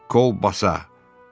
“Kolbasa!”